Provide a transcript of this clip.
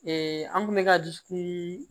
an kun bɛ ka dusukun